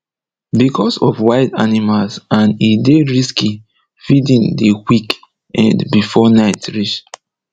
becos of wild animals and e dey risky feeding dey quick end before night reach